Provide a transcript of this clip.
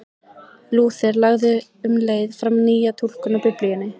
Lúther lagði um leið fram nýja túlkun á Biblíunni.